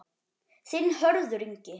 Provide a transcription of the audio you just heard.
Þinn, Hörður Ingi.